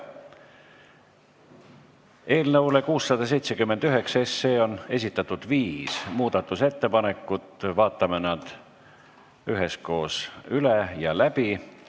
Eelnõu 679 kohta on esitatud viis muudatusettepanekut, vaatame nad üheskoos läbi.